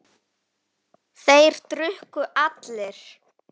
Þeir drukku allir.